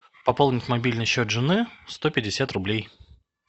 пополнить мобильный счет жены сто пятьдесят рублей